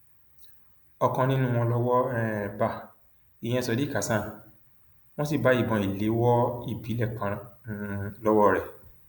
ọkan nínú wọn lọwọ um bá ìyẹn sadiq hasan wọn sì bá ìbọn ìléwọ ìbílẹ kan um lọwọ rẹ